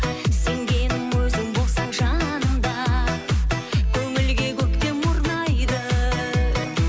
сенгенім өзің болсаң жанымда көңілге көктем орнайды